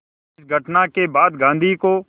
इस घटना के बाद गांधी को